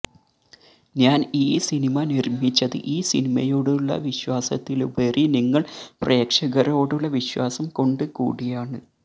ഞാന് ഈ സിനിമ നിര്മിച്ചത് ഈ സിനിമയോടുള്ള വിശ്വാസത്തിലുപരി നിങ്ങള് പ്രേക്ഷകരോടുള്ള വിശ്വാസം കൊണ്ട് കൂടിയാണ്